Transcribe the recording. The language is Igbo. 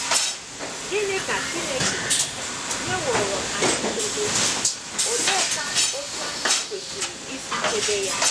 Gịnị ka Chineke nyeworo anyị idebe, oleekwa otú anyị kwesịrị isi chebe ya?